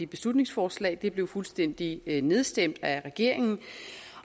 beslutningsforslag det blev fuldstændig nedstemt af regeringen